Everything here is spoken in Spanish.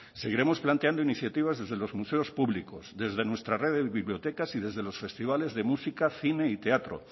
seguiremos planteando iniciativas desde los museos públicos desde nuestra red de bibliotecas y desde los festivales de cine música y teatro